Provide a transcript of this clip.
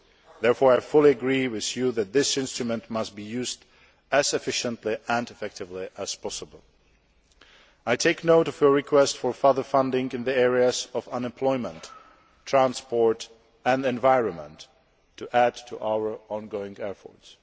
Therefore, I fully agree with you that this instrument must be used as efficiently and effectively as possible. I take note of your requests for further funding in the areas of unemployment, transport and the environment, to add to our ongoing efforts.